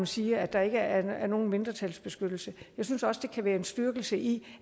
sige at der ikke er nogen mindretalsbeskyttelse jeg synes også der kan være en styrkelse i